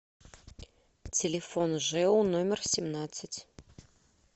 телефон жэу номер семнадцать